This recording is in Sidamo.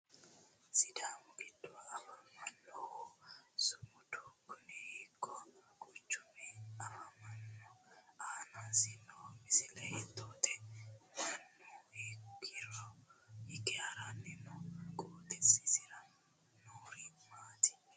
Sidaamu giddo afamannohu sumudu Kuni hiikko quchumira afamanno? Aanasi noo misile hiittote? Mannuno hiikkira hige haranni nooho? Qooxesisira noorino maati?